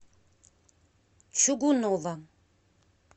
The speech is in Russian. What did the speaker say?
чугунова